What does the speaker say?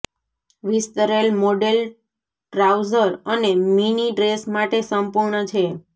વિસ્તરેલ model trouser અને mini dress માટે સંપૂર્ણ છે